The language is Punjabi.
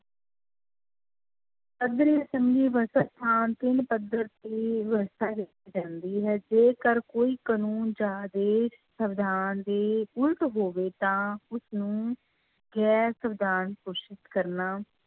ਪੱਧਰ ਤੇ ਵਿਵਸਥਾ ਵਿੱਚ ਰਹਿੰਦੀ ਹੈ ਜੇਕਰ ਕੋਈ ਕਾਨੂੰਨ ਜਾਂ ਆਦੇਸ਼ ਸਵਿਧਾਨ ਦੇ ਉਲਟ ਹੋਵੇ ਤਾਂ ਉਸਨੂੰ ਗੈਰ ਸਵਿਧਾਨ ਘੋਸ਼ਿਤ ਕਰਨਾ